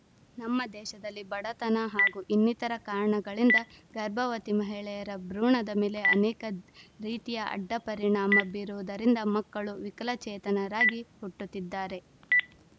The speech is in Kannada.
ನಮ್ಮ ದೇಶದಲ್ಲಿ ಬಡತನ ಹಾಗೂ ಇನ್ನಿತರ ಕಾರಣಗಳಿಂದ ಗರ್ಭವತಿ ಮಹಿಳೆಯರ ಭ್ರೂಣದ ಮೇಲೆ ಅನೇಕ ರೀತಿಯ ಅಡ್ಡ ಪರಿಣಾಮ ಬೀರುವುದರಿಂದ ಮಕ್ಕಳು ವಿಕಲಚೇತನರಾಗಿ ಹುಟ್ಟುತ್ತಿದ್ದಾರೆ